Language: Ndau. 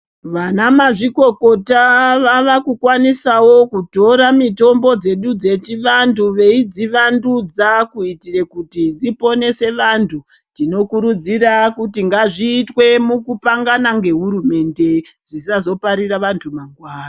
Vanamazvikokota vakukwanisawo kutora mitombo dzedu dzechivantu veidzi vandudza kuitire kuti dziponese vantu . Tinokurudzira kuti ngazviitwe mukupangana ngehurumende zvisazoparire vantu mwangwani.